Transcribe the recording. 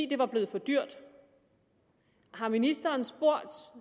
det var blevet for dyrt har ministeren spurgt